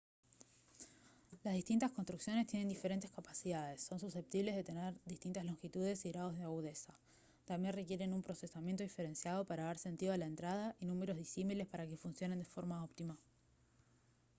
las distintas construcciones tienen diferentes capacidades son susceptibles de tener distintas longitudes y grados de agudeza también requieren un procesamiento diferenciado para dar sentido a la entrada y números disímiles para que funcionen de forma óptima